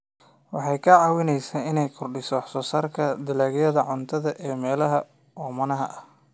Waxay ka caawisaa inay kordhiso wax soo saarka dalagyada cuntada ee meelaha oomanaha ah.